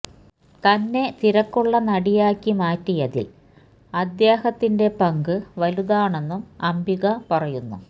തന്നെ തിരക്കുള്ള നടിയാക്കി മാറ്റിയതില് അദ്ദേഹത്തിന്റെ പങ്ക് വലുതാണെന്നും അംബിക പറയുന്നു